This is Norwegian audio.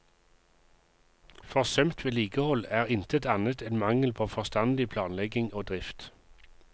Forsømt vedlikehold er intet annet enn mangel på forstandig planlegging og drift.